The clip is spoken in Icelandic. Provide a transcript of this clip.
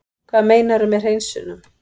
Hvað meinarðu með hreinsunum?